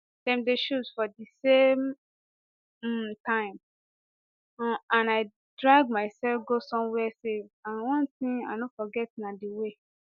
dem dey shoot for di same um time um and i drag mysef go somwia safe and one tin i no forget na di way